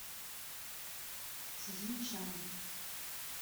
цзиньчан